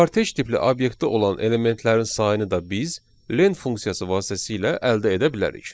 Kartej tipli obyektdə olan elementlərin sayını da biz len funksiyası vasitəsilə əldə edə bilərik.